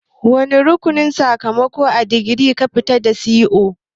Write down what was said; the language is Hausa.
Wane rukunin sakamakon digiri kika fita da shi0?